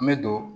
An bɛ don